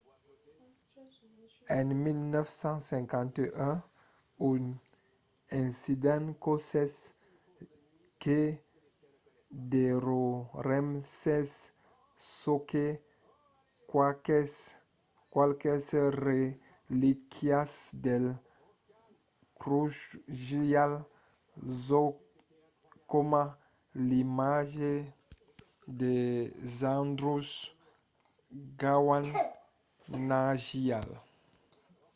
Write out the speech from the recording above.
en 1951 un incendi causèt que demorèssen sonque qualques relíquias del drukgyal dzong coma l'imatge de zhabdrung ngawang namgyal